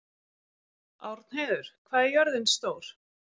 Árnheiður, hvað er jörðin stór?